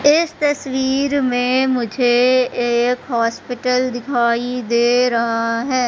इस तस्वीर में मुझे एक हॉस्पिटल दिखाई दे रहा है।